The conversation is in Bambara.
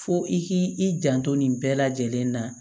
Fo i k'i janto nin bɛɛ lajɛlen na